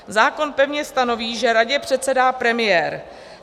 Zákon pevně stanoví, že radě předsedá premiér.